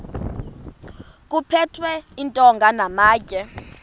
kuphethwe iintonga namatye